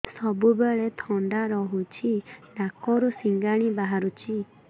ସବୁବେଳେ ଥଣ୍ଡା ରହୁଛି ନାକରୁ ସିଙ୍ଗାଣି ବାହାରୁଚି